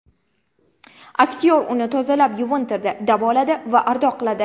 Aktyor uni tozalab yuvintirdi, davoladi va ardoqladi.